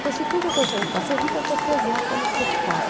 Prostituta quando você não ficasse rica, cortesã quando você ficasse.